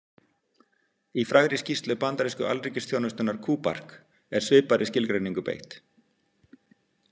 Í frægri skýrslu bandarísku alríkisþjónustunnar, KUBARK, er svipaðri skilgreiningu beitt.